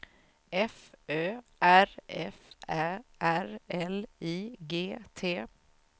F Ö R F Ä R L I G T